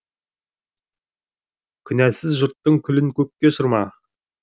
күнәсіз жұрттың күлін көкке ұшырма